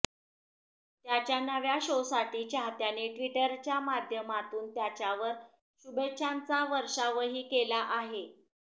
त्याच्या नव्या शोसाठी चाहत्यांनी ट्विटरच्या माध्यमातून त्याच्यावर शुभेच्छांचा वर्षावही केला आहे